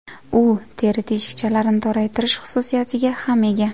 U teri teshikchalarini toraytirish xususiyatiga ham ega.